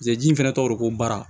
Seji fana tɔgɔ de ko baara